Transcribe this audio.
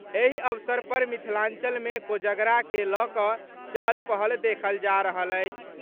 एहि अवसर पर मिथिलांचलमे कोजगरा के लऽ कऽ चहल पहल देखल जा रहल अछि।